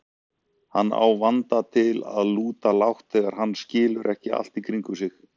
Hann á vanda til að lúta lágt þegar hann skilur ekki allt í kringum sig.